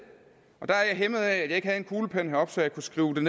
og der er jeg hæmmet af at jeg ikke havde en kuglepen heroppe så jeg kunne skrive det